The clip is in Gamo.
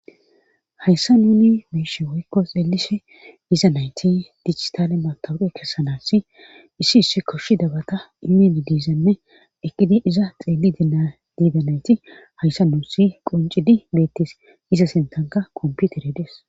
hayssa nuni beyishe beyishe woykko xeelishe diza nayti dichitale matawuqe kessanaassi issi issi koshshi dabata imini diizanne eqqidi iza xeeli dia diidanayti hayssa nuusi quncidi beettis iza sintanka komputerey des